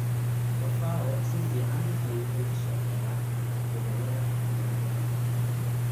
Fafao si fiican ayuu uga shaqeeyaa gobollada diiran.